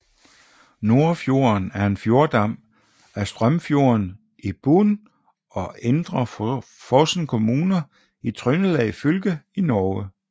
Nordfjorden er en fjordarm af Stjørnfjorden i Bjugn og Indre Fosen kommuner i Trøndelag fylke i Norge